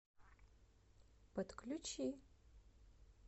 подключи